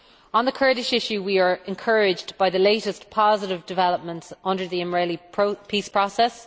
On the Kurdish issue, we are encouraged by the latest positive developments under the İmralı peace process.